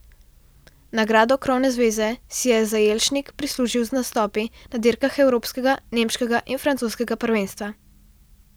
Nagrado krovne zveze si je Zajelšnik prislužil z nastopi na dirkah evropskega, nemškega in francoskega prvenstva.